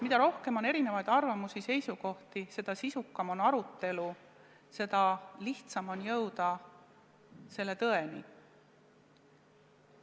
Mida rohkem on erinevaid arvamusi ja seisukohti, seda sisukam on arutelu, seda lihtsam on jõuda tõeni.